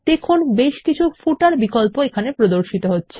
দেখুন বেশকিছু পাদলেখ বিকল্প প্রদর্শিত হচ্ছে